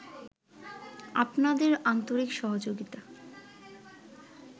আপনাদের আন্তরিক সহযোগিতা